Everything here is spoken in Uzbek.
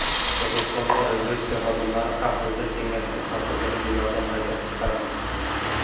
Qirg‘izistonda razvedka xodimlari Xavfsizlik kengashi kotibini binodan haydab chiqardi.